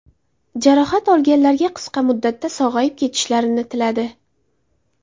Jarohat olganlarga qisqa muddatda sog‘ayib ketishlarini tiladi.